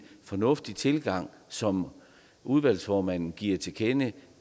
fornuftig tilgang som udvalgsformanden giver til kende